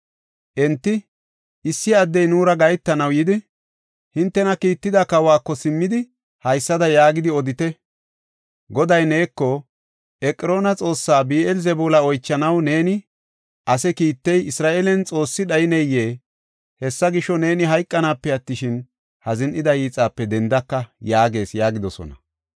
Enti, “Issi addey nuura gahetanaw yidi, hintena kiitida kawako simmidi, haysada yaagidi odite. Goday neeko, ‘Eqroona xoossa Bi7eel-Zebuula oychanaw neeni ase kiittey, Isra7eelen xoossi dhayneyee? Hessa gisho, neeni hayqanaape attishin, ha zin7ida hiixape dendaka’ yaagees” yaagidosona.